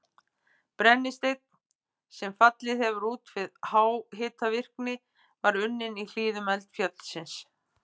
Brennisteinn, sem fallið hefur út við háhitavirkni, var unninn í hlíðum eldfjallsins